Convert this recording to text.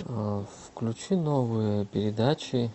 включи новые передачи